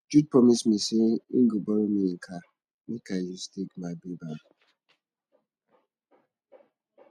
jude promise me say im go borrow me im car make i use take my babe out